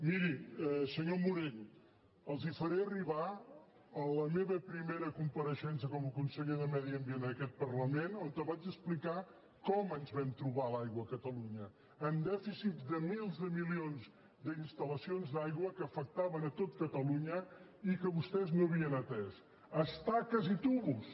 miri senyor morell els faré arribar la meva primera compareixença com a conseller de medi ambient en aquest parlament on vaig explicar com ens vam trobar l’aigua a catalunya amb dèficits de mils de milions d’instal·lacions d’aigua que afectaven a tot catalunya i que vostès no havien atès estaques i tubs